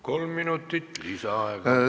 Kolm minutit lisaaega.